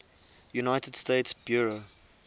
united states bureau